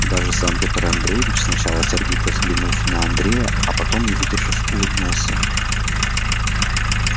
даже сам петр андреевич сначала сердито взглянув на андрея а потом не выдержав улыбнулся